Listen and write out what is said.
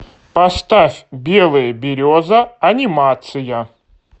поставь белая береза анимация